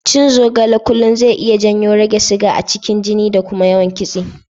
Cin zogale kullum zai iya janyo rage siga a cikin jini da kuma yawan kitse.